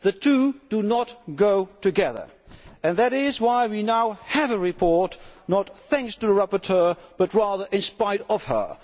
The two do not go together, and that is why we now have a report, not thanks to a rapporteur but, rather, in spite of her.